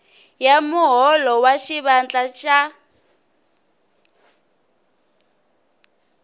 ya muholo wa xivandla xa